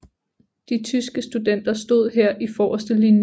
De tyske studenter stod her i forreste linje